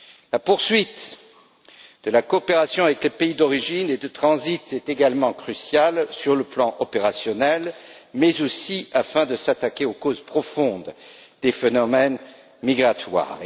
La poursuite de la coopération avec les pays d'origine et de transit est également cruciale sur le plan opérationnel, mais aussi afin de s'attaquer aux causes profondes des phénomènes migratoires.